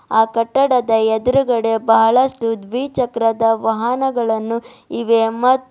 ಆ ಕಟ್ಟಡದ ಎದ್ರುಗಡೆ ಬಹಳಷ್ಟು ದ್ವೀ ಚಕ್ರದ ವಾಹನಗಳನ್ನು ಇವೆ ಮ--